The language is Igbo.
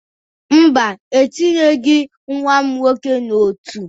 Mba, etinyeghi nwa m nwoke n'otu.